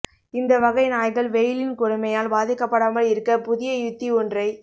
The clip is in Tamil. இந்தவகை நாய்கள் வெயிலின் கொடுமையால் பாதிக்கப்படாமல் இருக்க புதிய யுத்தி ஒன்றை